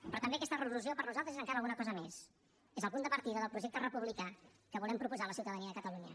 però també aquesta resolució per nosaltres és encara alguna cosa més és el punt de partida del projecte republicà que volem proposar a la ciutadania de catalunya